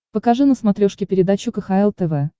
покажи на смотрешке передачу кхл тв